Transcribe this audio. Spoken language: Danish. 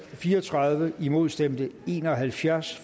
fire og tredive imod stemte en og halvfjerds